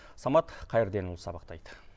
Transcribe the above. самат қайырденұлы сабақтайд